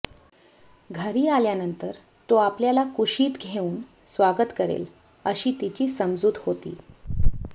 घरी आल्यानंतर तो आपल्याला कुशीत घेऊन स्वागत करेल अशी तिची समजूत होती